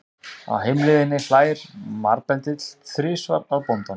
Á heimleiðinni hlær marbendill þrisvar að bóndanum.